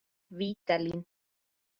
Vídalín